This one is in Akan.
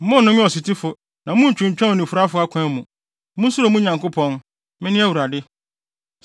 “ ‘Monnnome ɔsotifo na munntwintwan onifuraefo akwan mu. Munsuro mo Nyankopɔn; Mene Awurade.